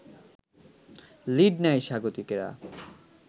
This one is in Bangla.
লিড নেয় স্বাগতিকরা